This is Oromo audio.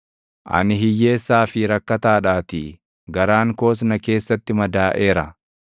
Ani hiyyeessaa fi rakkataadhaatii; garaan koos na keessatti madaaʼeera.